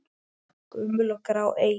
Gömul og grá eyja?